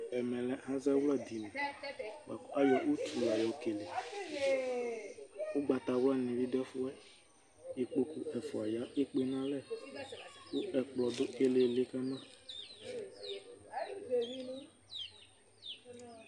ɛmɛ lɛ azawla dini bʋakʋ ayɔ ʋtʋ yɔ kɛlɛ ɔgbatawla nidʋ ɛƒʋɛ, ikpɔkʋ ɛƒʋa ya ɛkpè nʋ alɛ kʋ ɛkplɔ dʋ ilili kama